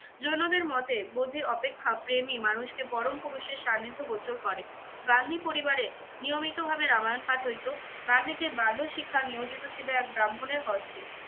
জৈনদের মতে বোধি অপেক্ষা প্রেমই মানুষকে পরমপুরুষের সান্নিধ্য গোচর করে। গান্ধী পরিবারে নিয়মিত ভাবে রামায়ন পাঠ হইতো। গান্ধীজীর বাল্য শিক্ষা নিয়োজিত ছিল এক ব্রাহ্মণের হস্তে।